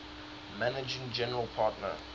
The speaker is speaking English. managing general partner